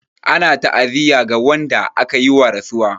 Ana ta'aziyya ga wanda aka yi wa rasuwa.